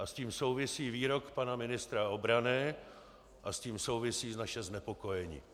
A s tím souvisí výrok pana ministra obrany a s tím souvisí naše znepokojení.